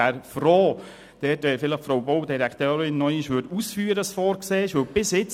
Ich wäre froh, wenn die Frau Baudirektorin vielleicht noch einmal ausführen könnte, was vorgesehen ist.